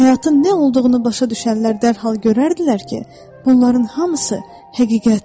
Həyatın nə olduğunu başa düşənlər dərhal görərdilər ki, bunların hamısı həqiqətdir.